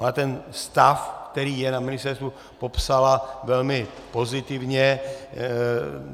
Ale ten stav, který je na ministerstvu, popsala velmi pozitivně.